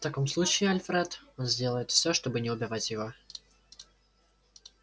в таком случае альфред он сделает всё чтобы не убивать его